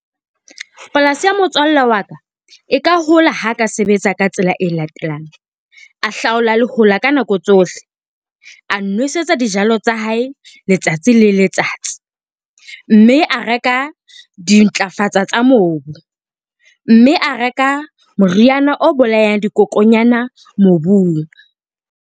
Polasi ya motswalle wa ka e ka hola ha ka sebetsa ka tsela e latelang. A hlaola lehola ka nako tsohle, a nwesetsa dijalo tsa hae letsatsi le letsatsi, mme a reka dintlafatso tsa mobu, mme a reka moriana o bolayang dikokonyana mobung.